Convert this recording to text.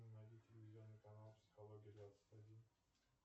найди телевизионный канал психология двадцать один